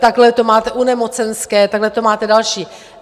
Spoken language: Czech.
Takhle to máte u nemocenské, takhle to máte další.